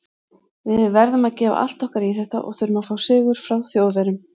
Við verðum að gefa allt okkar í þetta og þurfum að fá sigur frá Þjóðverjum.